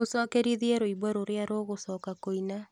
ũcokerithie rwĩmbo rũrĩa rũgũcoka kũina